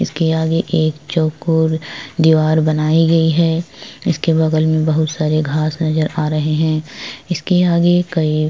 इसके आगे एक चौकोर दिवार बनाई गई है इसके बगल में बहुत सारे घास नजर आ रहै है इसके आगे कई--